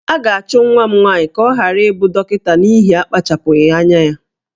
A ga-achụ nwa m nwaanyị ka ọ ghara ịbụ dọkịta n'ihi akpachapụghị anya ya